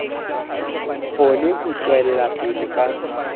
kgone ho tswela pele ka